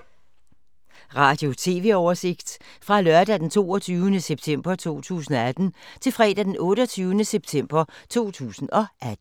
Radio/TV oversigt fra lørdag d. 22. september 2018 til fredag d. 28. september 2018